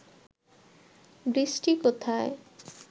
বৃষ্টি কোথায়